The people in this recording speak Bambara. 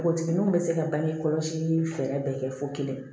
Npogotigininw be se ka bange kɔlɔsi fɛɛrɛ bɛɛ kɛ fo kelen